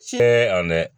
Tiɲɛ ani